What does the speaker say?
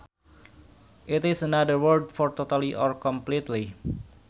It is another word for totally or completely